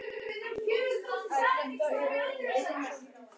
Þar kom að hann var spurður frétta af